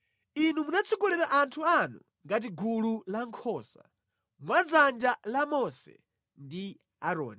Inu munatsogolera anthu anu ngati gulu la nkhosa mwa dzanja la Mose ndi Aaroni.